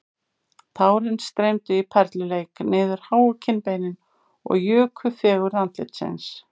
Tárin streymdu í perluleik niður háu kinnbeinin og juku fegurð andlitsins